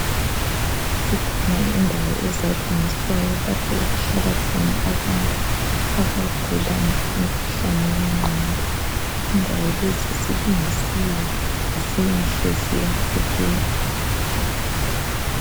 Zikhona indawo ezalungiswayo lapho okuhlala khona abantu abagula umkhuhlane wengqondo indawo lezi zilungisiwe zinhle ziyabukeka.